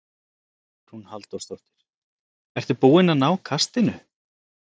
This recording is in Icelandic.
Hugrún Halldórsdóttir: Ertu búinn að ná kastinu?